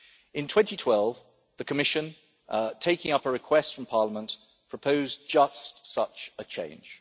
In 2012, the Commission, taking up a request from Parliament, proposed just such a change.